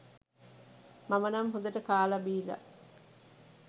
මම නම් හොඳට කාල බිලා